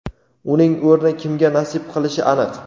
Uning o‘rni kimga nasib qilishi aniq.